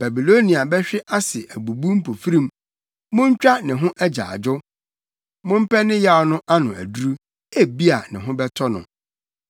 Babilonia bɛhwe ase abubu mpofirim. Muntwa ne ho agyaadwo! Mompɛ ne yaw no ano aduru; ebia ne ho bɛtɔ no.